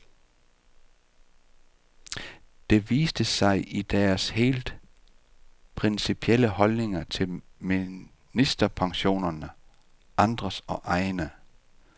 Det viste sig i deres helt principielle holdninger til ministerpensionerne, andres og egne.